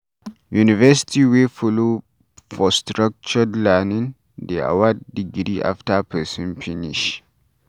University wey follow for structured learning dey award degree after person finish